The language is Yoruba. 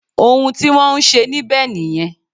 Òun tí wọ́n ń ṣe níbẹ̀ nìyẹn